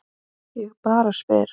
Ég bara spyr!